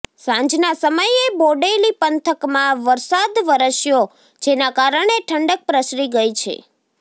સાંજના સમયે બોડેલી પંથકમાં વરસાદ વરસ્યો જેના કારણે ઠંડક પ્રસરી ગઇ છે